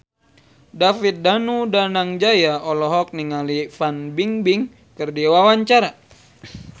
David Danu Danangjaya olohok ningali Fan Bingbing keur diwawancara